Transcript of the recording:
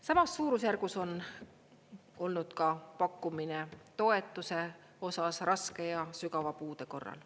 Samas suurusjärgus on olnud ka pakkumine toetuse osas raske ja sügava puude korral.